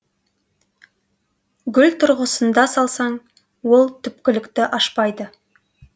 гүл тұрғысында салсаң ол түпкілікті ашпайды